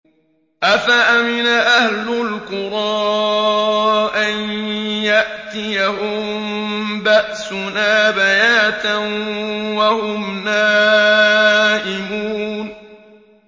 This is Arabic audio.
أَفَأَمِنَ أَهْلُ الْقُرَىٰ أَن يَأْتِيَهُم بَأْسُنَا بَيَاتًا وَهُمْ نَائِمُونَ